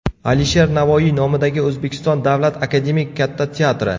Alisher Navoiy nomidagi O‘zbekiston davlat akademik Katta teatri.